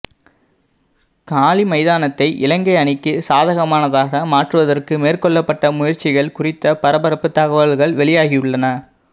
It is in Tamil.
காலி மைதானத்தை இலங்கை அணிக்கு சாதகமானதாக மாற்றுவதற்கு மேற்கொள்ளப்பட்ட முயற்சிகள் குறித்த பரபரப்பு தகவல்கள் வெளியாகியுள்ளன